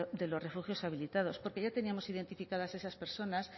de los refugios habilitados porque ya teníamos identificadas esas personas